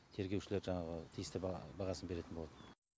тергеушілер жаңағы тиісті бағасын беретін болады